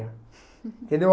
Entendeu?